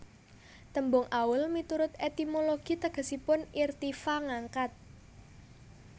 Tembung Aul miturut etimologi tegesipun irtifa ngangkat